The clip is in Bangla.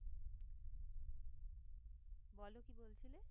বলো কি বলছিলে?